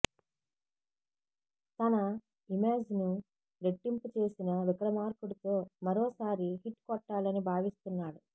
తన ఇమాజ్ ను రెట్టింపు చేసిన విక్రమార్కుడు తో మరోసారి హిట్ కొట్టాలని భావిస్తున్నాడు